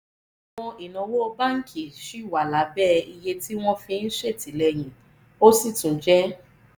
àwọn ìnáwó báńkì ṣì wà lábẹ́ iye tí wọ́n fi ń ṣètìlẹ́yìn ó sì tún jẹ́